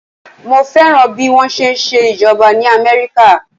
Mo fẹ́ràn bí wọ́n ṣe ń ṣe ìjọba ní Amẹ́ríkà.